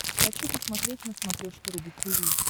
хочу посмотреть на смотрешке рубль ти ви